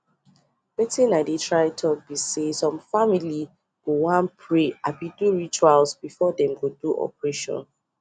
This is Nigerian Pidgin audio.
wetin i dey try talk be saysome family go wan pray abi do rituals before them go do operation